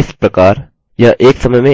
इस प्रकार यह एक समय में एक पृष्ठ प्रदर्शित करता है